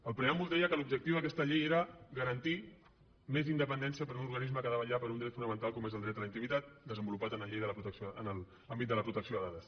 el preàmbul deia que l’objectiu d’aquesta llei era garantir més independència per a un organisme que ha de vetllar per un dret fonamental com és el dret a la intimitat desenvolupat en la llei de la protecció en l’àmbit de la protecció de dades